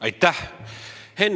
Aitäh!